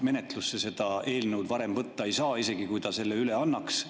Menetlusse seda eelnõu varem võtta ei saa, isegi kui ta selle üle annaks.